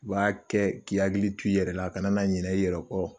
b'a k'i hakili to i yɛrɛ la i kana na ɲina i yɛrɛ kɔ.